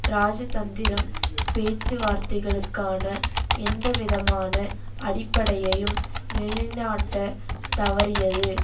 ராஜதந்திரம் பேச்சுவார்த்தைகளுக்கான எந்தவிதமான அடிப்படையையும் நிலைநாட்டத் தவறியது